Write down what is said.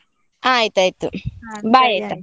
ಆಯ್ತಾಯ್ತು, bye ಆಯ್ತಾ?